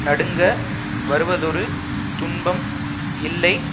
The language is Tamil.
நடுங்க வருவதொரு துன்பம் இல்லை